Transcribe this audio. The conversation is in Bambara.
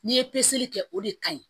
N'i ye peseli kɛ o de ka ɲi